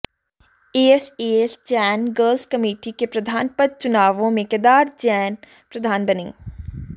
SS Jain girls committee के प्रधान पद चुनावों में केदार जैन प्रधान बने